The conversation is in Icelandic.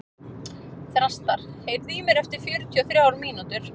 Þrastar, heyrðu í mér eftir fjörutíu og þrjár mínútur.